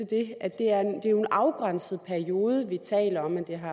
det er jo i en afgrænset periode vi taler